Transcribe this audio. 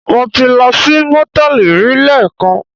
Mo ti lọ sí Mòtẹ́lì rí lẹ́ẹ̀kan.